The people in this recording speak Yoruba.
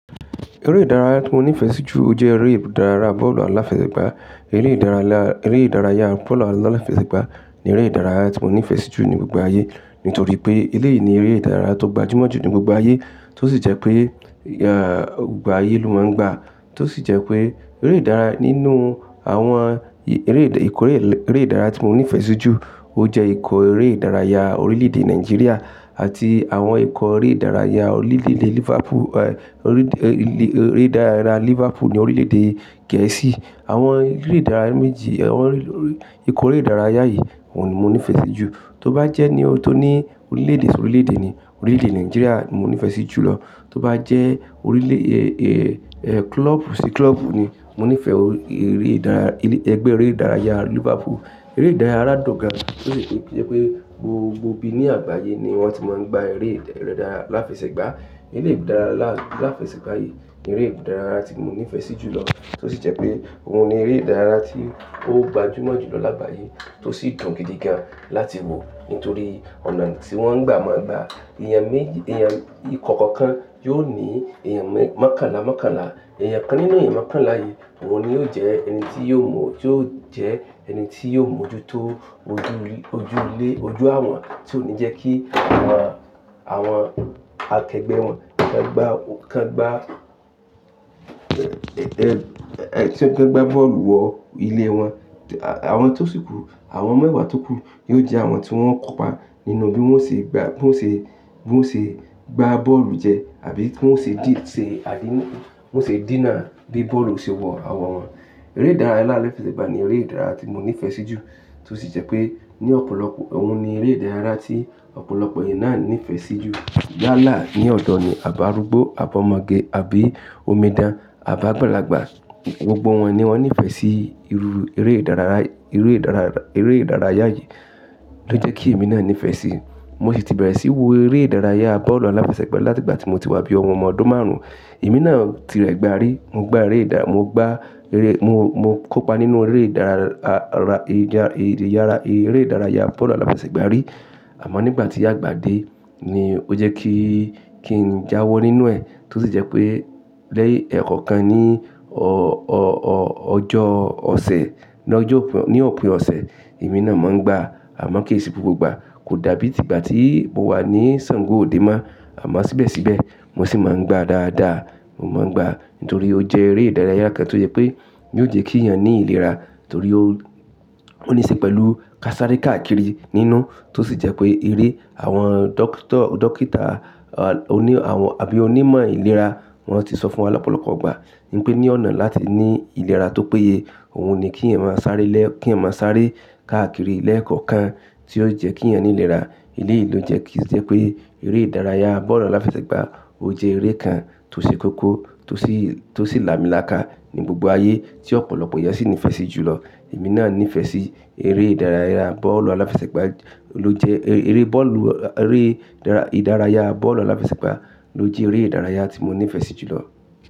Eré ìdárayá tí mo nífẹ̀ẹ́ sí jù jẹ́ eré ìdárayá bọ́ọ̀lù aláfẹsẹ̀gbá. Eré ìdárayá, eré ìdárayá bọ́ọ̀lù aláfẹsẹ̀gbá ni eré ìdárayá tí mo nífẹ̀ẹ́ sí jù ní gbogbo ayé. Nítorí pé, eléyìí ni eré ìdárayá tó gbajúmọ̀ jù ní gbogbo aiyé tó sì jẹ́ pé, gbogbo aiyé ló máa ń gbá. Tó sì jẹ́ pé, eré ìdárayá nínú àwọn ì-èrè ìdá-ìkọ̀ eré, eré ìdárayá tí mo nífẹ̀ẹ́ sí jù ó jẹ́ ìkọ̀ eré ìdárayá orílè-èdè Nàìjíríà àti àwọn ìkọ̀ eré ìdárayá orílè-èdè Liverpool. Orí, ilé, eré ìdárayá Liverpool ni orílè-èdè Gẹ̀ẹ́sì. Àwọn eré ìdárayá méjì, àwọn orí, orí, ìkọ̀ eré ìdárayá yìí òun ni mo nífẹ̀ẹ́ sí jù. Tó bá jẹ́ ní ohun tó ní orílè-èdè sí orílè-èdè ni, orílè-èdè Nàìjíríà mo nífẹ̀ẹ́ sí jùlọ. Tó bá jẹ́ orílè kílọ́bù sí kílọ́bù ni, mo nífẹ̀ẹ́ eré ìdárayá, elé, ẹgbẹ́ eré ìdárayá Liverpool. Eré ìdárayá dùn gan tó sì jẹ́ pé, gbogbo ibi ní àgbáyé ni wọ́n ti máa ń gba eré ìdárayá aláfẹsẹ̀gbá. Eré ìdárayá aláfẹsẹ̀gbá yìí ni eré ìdárayá tí mo nífẹ̀ẹ́ sí jù lọ. Tó sì jẹ́ pé, òun ni eré ìdárayá tí ó gbajúmọ̀ jù lọ lágbàáyé tó sì dùn gidi gan láti wò. Nítorí ọ̀nà tí wọ́n gbà máa ń gbá. Ìyẹn méjì, Ìyẹn, ìkọ̀ọ̀kan kan yóò ní ìyẹn mẹ́-mọ́kànlá, mọ́kànlá. Èèyàn kan nínú èèyàn mọ́kànlá yìí, òun ni yóò jẹ́ ẹni tí yóò mọ̀, tí yóò jẹ́ ẹni tí yóò mójútó ojú, ojú ilé, ojú àwọn tí ó ní jẹ́ kí àwọn, àwọn akẹgbẹ́ wọn kan gbá, kan gbá, ki wọ́n gbá bọ́ọ̀lù wọ ilé wọn. Àwọn tó sì kú, àwọn mẹ́wàá tó kú yóò jẹ́ àwọn tí wọ́n kopa nínú bí wọ́n ṣe gbá, bí wọ́n ṣe, bí wọ́n ṣe gbá bọ́ọ̀lù jẹ, àbí bí wọ́n ṣe dí, ṣe àdí, wọ́n ṣe díná bí bọ́ọ̀lù ṣe wọ àwọn wọn. Eré ìdárayá aláfẹsẹ̀gbá ni eré ìdárayá tí mo nífẹ̀ẹ́ sí jù. Tó sì jẹ́ pé, ní ọ̀pọ̀lọpọ̀, òun ni eré ìdárayá tí ọ̀pọ̀lọpọ̀ ènìyàn na ní ìfẹ́ sí jù. Yala ní ọ̀dọ̀ ni abi arúgbó, ab'ọmọge, àbí omidan, àbi àgbàlagbà gbogbo wọn ni wọ́n nífẹ̀ẹ́ sí irú eré ìdárayá, eré ìdárayá, eré ìdárayá yìí ló jẹ́ kí èmi náà nífẹ̀ẹ́ sí. Mo sì ti bẹ̀rẹ̀ síí wo eré ìdárayá bọ́ọ̀lù aláfẹsẹ̀gbá láti ìgbà tí mo ti wá ni bí i ọmọ ọdún márùn-ún. Èmi náà ti ẹ gbá rí, mo gbá eré ìdá-- mo gbá eré, mo, mo kópa nínú eré ìdárayá, ìdá, ìdárayá, eré ìdárayá bọ́ọ̀lù aláfẹsẹ̀gbá rí. Àmọ́ nígbà tí ágbá dé ni ó jẹ́ kí n jáwọ́ nínú ẹ̀. Tó sì jẹ́ pé, lẹ́yìn ẹkọọkan ní, ọjọ́ ọ̀sẹ̀, ní ọjọ́ òpin, ní òpin ọ̀sẹ̀ èmi náà máa ń gbá àmọ́ kì í ṣe gbogbo ìgbà. Kò dàbí ti ìgbà tí mo wà ní Ṣàngó òde mọ, àmọ́ síbẹ̀síbẹ̀ mo sì máa ń gbá dáadáa. Mo máa ń gbá, nítorí ó jẹ́ eré ìdárayá kan tó jẹ́ pé yóò jẹ́ kí èèyàn ní ìlera. Nítorí ó, ó ní í ṣe pẹ̀lú ká sáré ká kiri nínú. Tó sì jẹ́ pé, eré àwọn dókítà, dókítà oní àwọn àbí onímọ̀ ìlera wọ́n ti sọ fún wa lọ́pọ̀lọpọ̀ ìgbà pé ní ọ̀nà láti ní ìlera tó péye, òun ni kí ẹ̀yàn máa sáré lẹ́, kí ẹ̀yàn máa sáré ká kiri lẹ́ẹ̀kọ̀kan tí ó jẹ́ kí ẹ̀yàn ní ìlera. Eléyìí ló jẹ́ kí o jẹ́ pé eré ìdárayá bọ́ọ̀lù aláfẹsẹ̀gbá ó jẹ́ eré kan tó ṣe kóko tó sì, tó sì lámiláká ní gbogbo ayé tí ọ̀pọ̀lọpọ̀ èèyàn sì nífẹ̀ẹ́ sí jù lọ. Èmi náà nífẹ̀ẹ́ sí eré ìdárayá bọ́ọ̀lù aláfẹsẹ̀gbá ló jẹ́, eré, eré bọ́ọ̀lù, eré ìdárayá bọ́ọ̀lù aláfẹsẹ̀gbá ló jẹ́ eré ìdárayá tí mo nífẹ̀ẹ́ sí jù lọ.